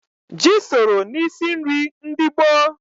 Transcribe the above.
Ji soro n'isi nri ndị gboo.